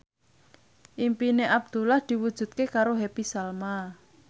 impine Abdullah diwujudke karo Happy Salma